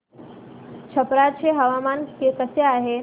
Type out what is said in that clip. छप्रा चे हवामान कसे आहे